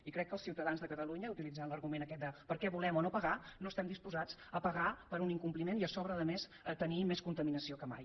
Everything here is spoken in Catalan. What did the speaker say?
i crec que els ciutadans de catalunya utilitzant l’argument aquest de per què volem o no pagar no estan disposats a pagar per un incompliment i a sobre a més a tenir més contaminació que mai